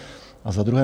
A za druhé.